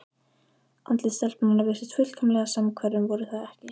Andlit stelpnanna virtust fullkomlega samhverf en voru það ekki.